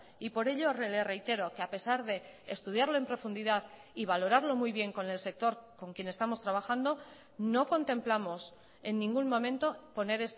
y por ello le reitero que a pesar de estudiarlo en profundidad y valorarlo muy bien con el sector con quien estamos trabajando no contemplamos en ningún momento poner